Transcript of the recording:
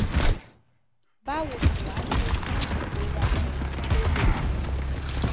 báwo ni wàá ṣe dín ìrora ẹyìn tó le kù